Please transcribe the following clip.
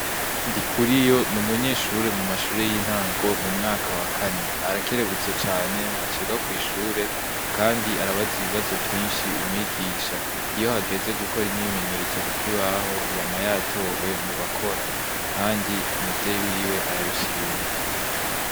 Ndi kuri yo ni umunyeshure mu mashure y'intango mu mwaka wa kane arakerebutse cane ntacega kw'ishure, kandi arabaza ibibazo vyinshi umwigisha iyo hageze gukora imyimenyerezo kukoibaho iyama yatowe mu bakora, kandi umuvyeyi wiwe arabishima.